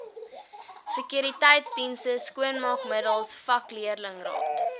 sekuriteitsdienste skoonmaakmiddels vakleerlingraad